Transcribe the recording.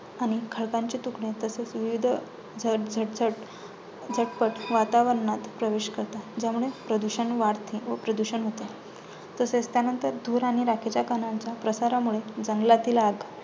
आणि खडकांचे तुकडे तसेच विविध झटझट झटपट वातावरणात प्रवेश करतात. ज्यामुळे प्रदूषण वाढते व प्रदूषण होते. तसेच त्यानंतर धूर आणि राखेचा कणांच्या प्रसारामुळे